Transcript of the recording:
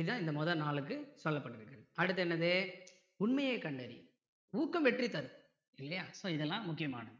இதான் இந்த முதல் நாலுக்கு சொல்லப்பட்டுருக்கு அடுத்து என்னது உண்மையை கண்டறி ஊக்கம் வெற்றி தரும் இல்லையா so இதெல்லாம் முக்கியமானது